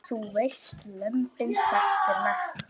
Þú veist, Lömbin þagna.